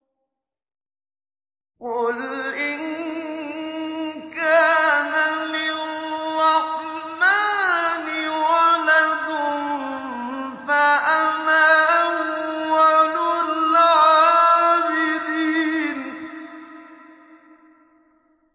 قُلْ إِن كَانَ لِلرَّحْمَٰنِ وَلَدٌ فَأَنَا أَوَّلُ الْعَابِدِينَ